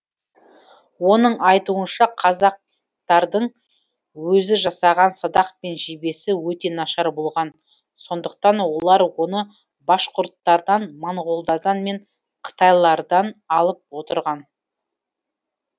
оның айтуынша қазақтардың өзі жасаған садақ пен жебесі өте нашар болған сондықтан олар оны башқұрттардан монғолдар мен қытайлардан алып отырған